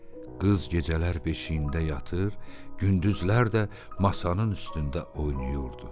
Qız gecələr beşiyində yatır, gündüzlər də masanın üstündə oynayırdı.